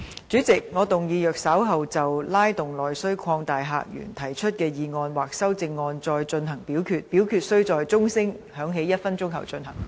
主席，我動議若稍後就"拉動內需擴大客源"所提出的議案或修正案再進行點名表決，表決須在鐘聲響起1分鐘後進行。